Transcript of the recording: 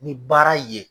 Ni baara ye